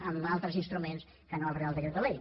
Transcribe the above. amb altres instruments que no el real decreto ley